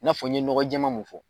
I n'a fɔ n ye nɔgɔjɛma mun fɔ.